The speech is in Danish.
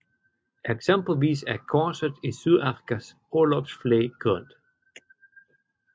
Eksempelvis er korset i Sydafrikas orlogsflag grønt